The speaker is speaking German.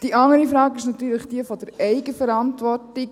Die andere Frage ist jene der Eigenverantwortung.